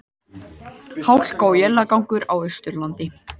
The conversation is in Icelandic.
Hálka og éljagangur á Austurlandi